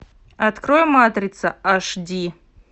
открой матрица аш ди